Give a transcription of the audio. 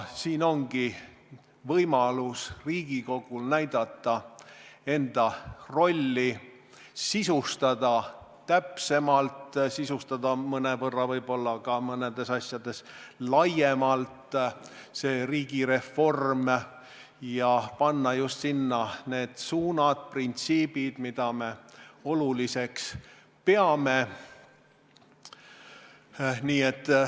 Siin ongi Riigikogul võimalus näidata enda rolli, sisustada täpsemalt, mõnevõrra võib-olla mõnes asjas laiemalt riigireformi ja panna kirja just need suunad, printsiibid, mida me oluliseks peame.